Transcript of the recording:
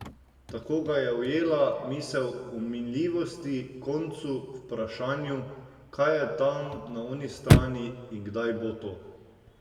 Tako ga je ujela misel o minljivosti, koncu, vprašanju, kaj je tam na oni strani in kdaj bo to?